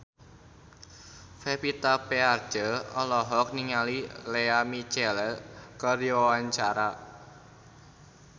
Pevita Pearce olohok ningali Lea Michele keur diwawancara